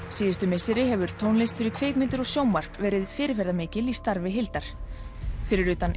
síðustu misseri hefur tónlist fyrir kvikmyndir og sjónvarp verið fyrirferðarmikil í starfi Hildar fyrir utan